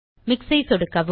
mix ஐ சொடுக்கவும்